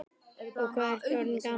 Og hvað ertu orðinn gamall, góði?